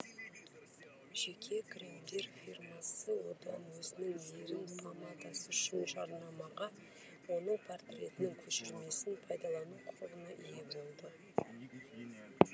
жеке кремдер фирмасы одан өзінің ерін помадасы үшін жарнамаға оның портретінің көшірмесін пайдалану құқығына ие болды